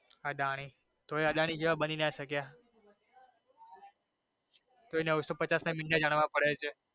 અદાણી તોઈ અદાણી જેવા નો બની નો શક્યા તોય નવસો પચાસ ના મીંડા જાણવા પડે છે.